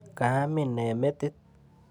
Kaamin nee metit?